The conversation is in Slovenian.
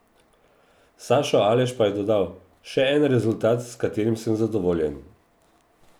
Sašo Aleš pa je dodal: "Še en rezultat, s katerim sem zadovoljen.